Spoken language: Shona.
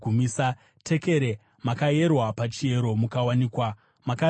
Tekere : Makayerwa pachiyero mukawanikwa makareruka.